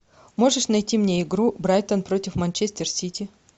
можешь найти мне игру брайтон против манчестер сити